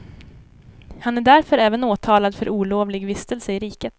Han är därför även åtalad för olovlig vistelse i riket.